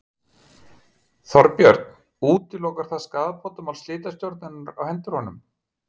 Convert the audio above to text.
Þorbjörn: Útilokar það skaðabótamál slitastjórnarinnar á hendur honum?